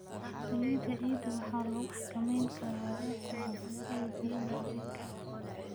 Saliidda ciidda waxaa lagu xakameyn karaa waraabka habboon iyo biyo-mareenka.